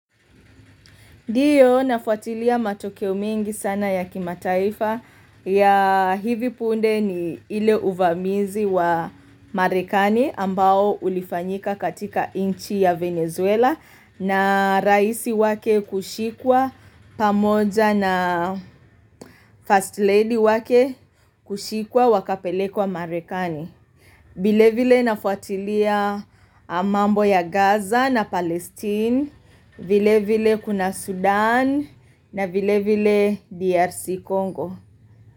Ndio nafuatilia matokeo mengi sana ya kimataifa ya hivi punde ni ile uvamizi wa marekani ambao ulifanyika katika inchi ya Venezuela na raisi wake kushikwa pamoja na first lady wake kushikwa wakapelekwa marekani. Vile vile nafuatilia mambo ya Gaza na Palestine, vile vile kuna Sudan na vile vile DRC Congo.